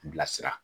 Bilasira